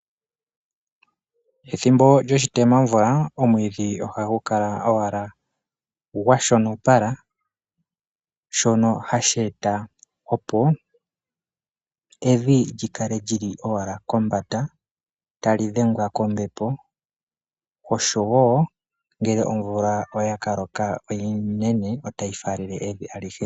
Ethimbo lyoshitemamvula oomwidhi ohagu kala owala gwa shonopala shono hashi eta opo evi lyi kale lyili owala kombanda tali dhengwa kombepo oshowo omvula oya ka loka onene otayi falele evi alihe.